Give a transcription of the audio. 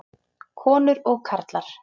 Konur og karlar.